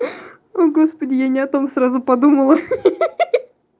о господи я не о том сразу подумала